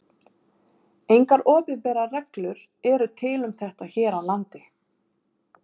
Engar opinberar reglur eru til um þetta hér á landi.